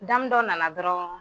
Damu dɔ nana dɔrɔn